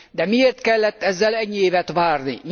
De miért kellett ezzel ennyi évet várni?